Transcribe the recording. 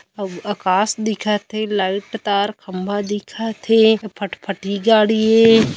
औ आकाश दिखत हे लाइट तार खम्भा दिखत हे फटफटी गाड़ी हे।